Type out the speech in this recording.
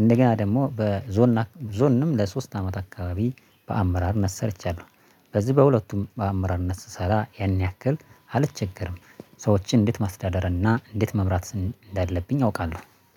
እንደገና ደግሞ በዞን ዞንም ለሶስት አመት አከባቢ በአመራርነት ሰርቻለሁ በዚህ በሁለቱም በአመራርነት ስሰራ ያን ያክል አልቸገርም ሰዎችን እንዴት ማስተዳደር እና እንዴት መምራት እንዳለብኝ አውቃለው።